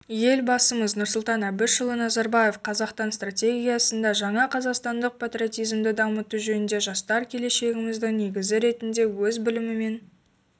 елбасымыз нұрсұлтан әбішұлы назарбаев қазақтан стратегиясында жаңа қазақстандық патриотизмді дамыту жөнінде жастар келешегіміздің негізі ретінде өз білімімен